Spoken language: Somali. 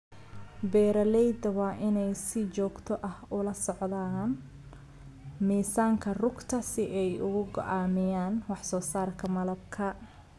Beeralayda waa inay si joogto ah ula socdaan miisaanka rugta si ay u go'aamiyaan wax soo saarka malabka.